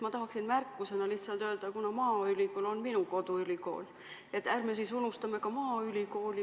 Ma tahaksin märkusena lihtsalt öelda – kuna maaülikool on minu koduülikool –, et ärme siis unustame ka maaülikooli.